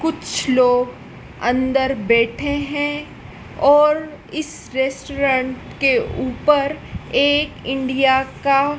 कुछ लोग अंदर बैठे हैं और इस रेस्टोरेंट के ऊपर एक इंडिया का--